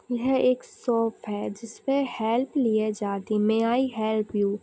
यह एक शॉप है जिसमें हेल्प लिए जाती मै आई हेल्प यू .